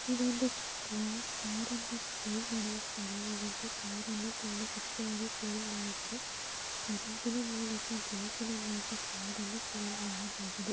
ಇದೊಂದು ಬ್ಲಾಕ್ ಕಾರನ್ನು --